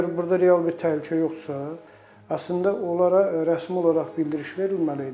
Əgər burda real bir təhlükə yoxdursa, əslində onlara rəsmi olaraq bildiriş verilməli idi.